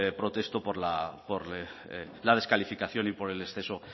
protesto por la descalificación y por el exceso